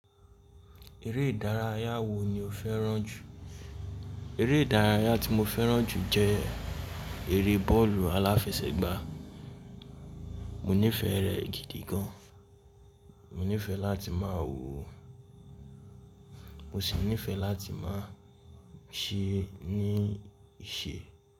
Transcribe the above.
Eré ìdárayá wo ni o fẹ́ràn jù? Eré ìdárayá tí mo fẹ́ràn jù jẹ́ eré bọ́ọ̀lù aláfẹsẹ̀gbá. Mo nífẹ̀ẹ́ rẹ̀ gidi gan. Mo nífẹ̀ẹ́ láti máa wò ó, mo sì nífẹ̀ẹ́ láti máa ṣe é ní ìṣe.